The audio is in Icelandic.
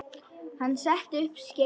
Hann setti upp skeifu.